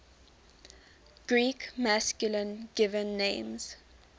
greek masculine given names